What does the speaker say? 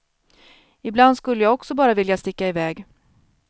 Ibland skulle jag också bara vilja sticka iväg.